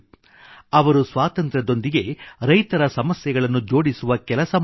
ಅವರು ಸ್ವಾತಂತ್ರ್ಯದೊಂದಿಗೆ ರೈತರ ಸಮಸ್ಯೆಗಳನ್ನು ಜೋಡಿಸುವ ಕೆಲಸ ಮಾಡಿದರು